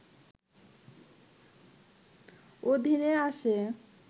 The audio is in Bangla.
অধীনে আসে